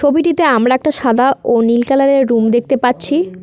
ছবিটিতে আমরা একটা সাদা ও নীল কালারের রুম দেখতে পাচ্ছি।